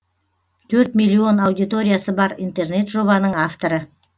төрт миллион аудиториясы бар интернет жобаның авторы